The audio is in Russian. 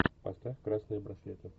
поставь красные браслеты